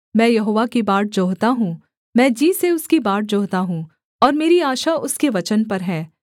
मैं यहोवा की बाट जोहता हूँ मैं जी से उसकी बाट जोहता हूँ और मेरी आशा उसके वचन पर है